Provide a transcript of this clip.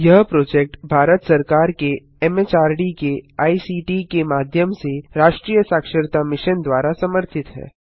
यह प्रोजेक्ट भारत सरकार के एमएचआरडी के आईसीटी के माध्यम से राष्ट्रीय साक्षरता मिशन द्वारा समर्थित है